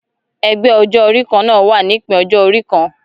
Ẹgbẹ ọjọ orí kanna wà nípin ọjọ orí kàn.